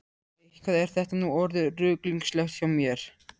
Eitthvað er þetta nú orðið ruglingslegt hjá mér.